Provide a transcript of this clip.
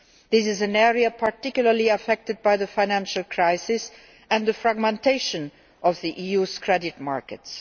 This is an area particularly affected by the financial crisis and the fragmentation of the EU's credit markets.